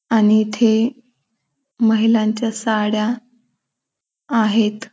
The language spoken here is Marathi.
आणि इथे महिलांच्या साड्या आहेत.